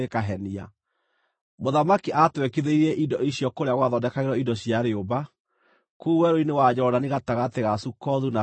Mũthamaki aatwekithagĩria indo icio kũrĩa gwathondekagĩrwo indo cia rĩũmba kũu werũ-inĩ wa Jorodani gatagatĩ ga Sukothu na Zarethani.